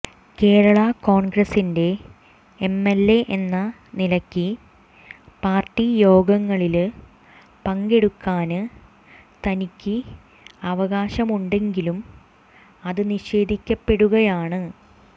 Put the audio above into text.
കേരളാ കോണ്ഗ്രസിന്റെ എംഎല്എ എന്ന നിലയ്ക്ക് പാര്ട്ടി യോഗങ്ങളില് പങ്കെടുക്കാന് തനിക്ക് അവകാശമുണ്ടെങ്കിലും അത് നിഷേധിക്കപ്പെടുകയാണ്